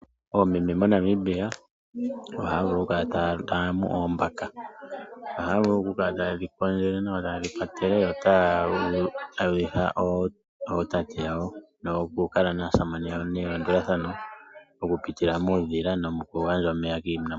Oomeme moNamibia ohaavulu kukala taamunu oombaka, ohaavulu kukala tayedhi kondjele nawa yotaye dhi patele nawa, yotaye dhi hadhitha ootate yawo nokukala naasamane yawo nelandulathano okupitila muudhila nomokugadja omeya kiinamwenyo.